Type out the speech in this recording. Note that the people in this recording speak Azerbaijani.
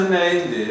O sənin nəyindir?